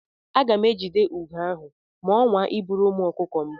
Aga m ejide ugo ahụ ma ọ nwaa iburu ụmụ ọkụkọ m.